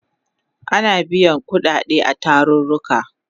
Ana biyan kudade a tarurruka